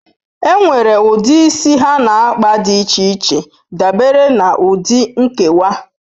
Enwere ụdị isi ha na kpa dị iche iche dabere na ụdị nkewa.